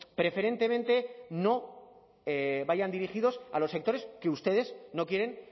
preferentemente no vayan dirigidos a los sectores que ustedes no quieren